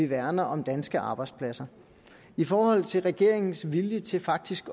værner om danske arbejdspladser i forhold til regeringens vilje til faktisk